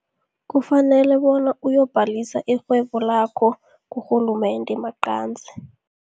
Kufanele bona uyokubhalisa irhwebo lakho kurhulumende maqanzi.